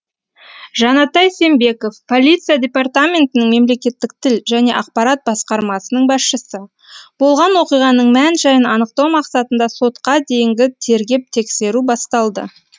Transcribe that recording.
жанатай сембеков полиция департаментінің мемлекеттік тіл және ақпарат басқармасының басшысы болған оқиғаның мән жайын анықтау мақсатында сотқа дейінгі тергеп тексеру басталды